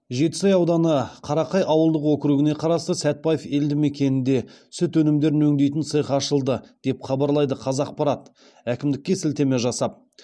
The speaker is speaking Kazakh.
жетісай ауданы қарақай ауылдық округіне қарасты сәтбаев елді мекенінде сүт өнімдерін өңдейтін цех ашылды деп хабарлайды қазақпарат әкімдікке сілтеме жасап